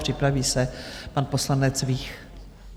Připraví se pan poslanec Vích.